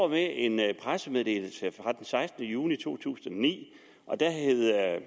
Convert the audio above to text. med en pressemeddelelse fra den sekstende juni to tusind og ni og da hed